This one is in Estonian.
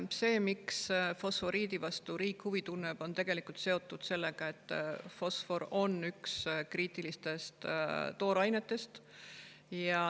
See, miks riik fosforiidi vastu huvi tunneb, on seotud sellega, et fosfor on üks kriitilistest toorainetest.